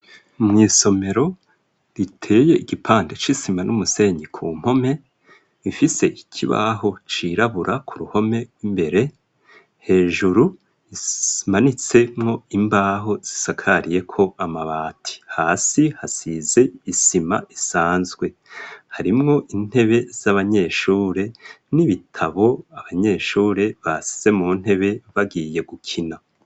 Mw'isomero riteye igipande c'isima n'umusenyi ku mpome ifise ikibaho cirabura ku ruhome imbere hejuru ismanitsemo imbaho zisakariye ko amabati hasi hasize isima isanzwe harimwo intebe z'abanyeshure n'ibitabo abanyeshure basise mu ntebe bagiye gukina.